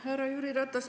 Härra Jüri Ratas!